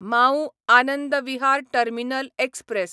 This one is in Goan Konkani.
Mau Anand Vihar terminal express